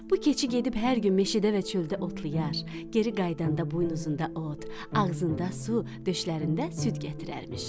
Bu keçi gedib hər gün meşədə və çöldə otlayar, geri qayıdanda buynuzunda ot, ağzında su, döşlərində süd gətirərmiş.